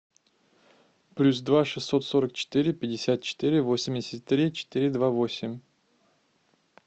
плюс два шестьсот сорок четыре пятьдесят четыре восемьдесят три четыре два восемь